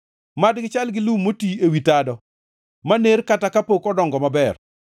Mad gichal gi lum moti ewi tado maner kata kapok odongo maber.